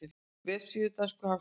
Vefsíða dönsku hagstofunnar